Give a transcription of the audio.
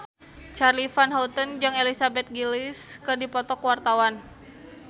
Charly Van Houten jeung Elizabeth Gillies keur dipoto ku wartawan